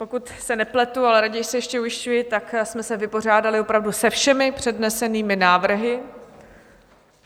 Pokud se nepletu, ale raději se ještě ujišťuji, tak jsme se vypořádali opravdu se všemi přednesenými návrhy.